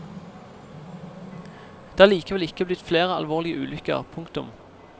Det er likevel ikke blitt flere alvorlige ulykker. punktum